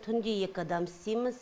түнде екі адам істейміз